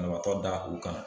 Banabaatɔ da u kan.